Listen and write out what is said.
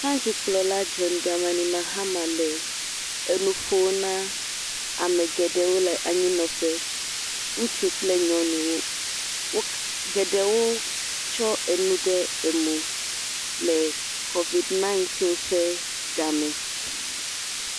Míaƒe du kplɔla John Dramani Mahama le nu ƒom na ame geɖewo le anyi nɔƒe. Ŋutsu kple nyɔnuwo, geɖewo tsɔ enu kɔ tsyɔe mɔ le kovid ɛɣ ƒe ga me.